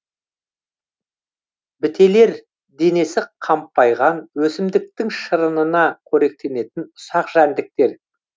бітелер денесі қампайған өсімдіктің шырынына көректенетін ұсақ жәндіктер